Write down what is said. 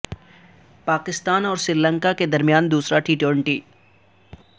پاکستان اور سری لنکا کے درمیان دوسرا ٹی ٹوئنٹی